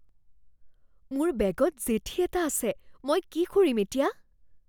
মোৰ বেগত জেঠী এটা আছে। মই কি কৰিম এতিয়া?